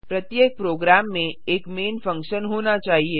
प्रत्येक प्रोग्राम में एक मैन फंक्शन होना चाहिए